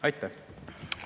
Aitäh!